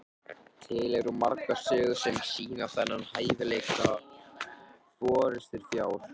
til eru margar sögur sem sýna þennan hæfileika forystufjár